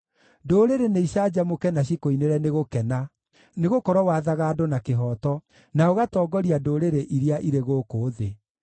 Ndũrĩrĩ nĩicanjamũke na cikũinĩre nĩ gũkena, nĩgũkorwo wathaga andũ na kĩhooto, na ũgatongoria ndũrĩrĩ iria irĩ gũkũ thĩ.